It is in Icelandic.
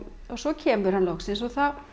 svo kemur hann loksins og